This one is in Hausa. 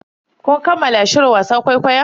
Kun kammala shirin wasan kwaikwayon?